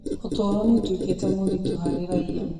ũtũũro nĩ ũtuĩkĩte mũritũ harĩ raiya